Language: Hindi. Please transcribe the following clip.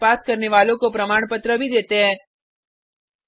ऑनलाइन टेस्ट पास करने वालों को प्रमाण पत्र भी देते हैं